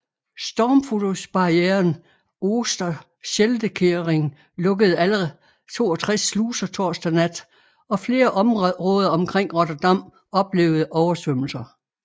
Stormflodsbarrieren Oosterscheldekering lukkede alle 62 sluser torsdag nat og flere områder omkring Rotterdam oplevede oversvømmelser